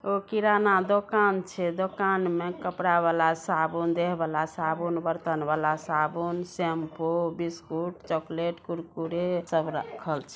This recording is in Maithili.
एगो किराना वला दुकान छै दुकान में कपड़ा वाला साबुन देह वला साबुन बर्तन वला साबुन शैंपू बिस्कुट चॉकलेट कुरकुरे सब राखल छै।